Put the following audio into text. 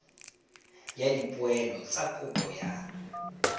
ya dipoelo tsa kopo ya